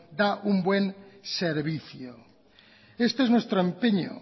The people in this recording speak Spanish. da un buen servicio este es nuestro empeño